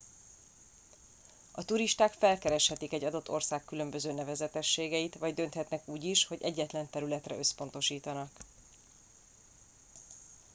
a turisták felkereshetik egy adott ország különböző nevezetességeit vagy dönthetnek úgy is hogy egyetlen területre összpontosítanak